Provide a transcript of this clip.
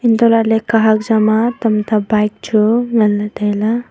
hantolahley kahak jama tamta bike chu nganley tailey.